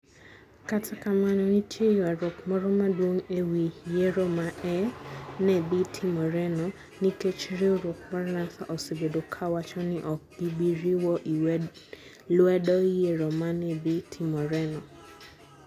Kata kamano, nitie ywaruok moro maduong ' e wi yiero ma ne dhi timoreno, nikech riwruok mar NASA osebedo kawacho ni ok gibi riwo lwedo yiero ma ne dhi timoreno.